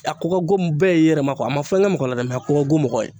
A ka ka go bɛɛ ye yɛrɛ ma a ma fɛn kɛ mɔgɔ la dɛ mɛ a ko ka go mɔgɔ ye